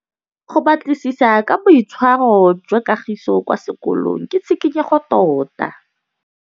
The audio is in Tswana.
Go batlisisa ka boitshwaro jwa Kagiso kwa sekolong ke tshikinyêgô tota.